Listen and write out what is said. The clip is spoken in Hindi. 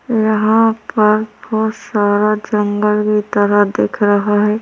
यहाँ पर बहुत सारा जंगल की तरह दिख रहा हैं।